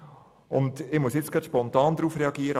Ich muss spontan darauf reagieren: